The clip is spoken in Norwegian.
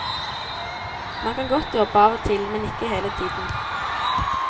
Man kan godt jobbe av og til, men ikke hele tiden.